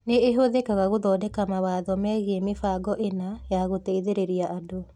Nĩ ĩhũthĩkaga gũthondeka mawatho megiĩ mĩbango ĩna ya gũteithĩrĩria andũ.